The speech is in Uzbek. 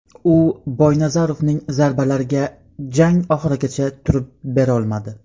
U Boynazarovning zarbalariga jang oxirigacha turib berolmadi.